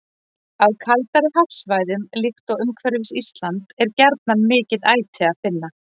Á kaldari hafsvæðum, líkt og umhverfis Ísland, er gjarnan mikið æti að finna.